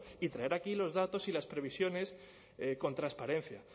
y traer aquí los datos y las previsiones con transparencia